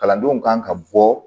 Kalandenw kan ka bɔ